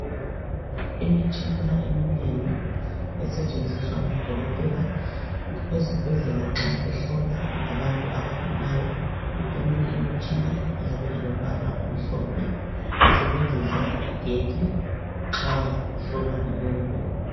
Imitshina eminengi esetshenziswa ngodokotela ezibhedlela nxa behlola abantu abagulayo, eminye imitshina iyabe ilombala omhlophe, isebenzisa igetsi nxa kuhlolwa umuntu.